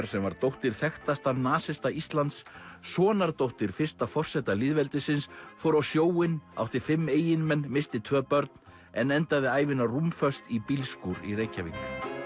sem var dóttir þekktasta nasista Íslands sonardóttir fyrsta forseta lýðveldisins fór á sjóinn átti fimm eiginmenn missti tvö börn en endaði ævina rúmföst í bílskúr í Reykjavík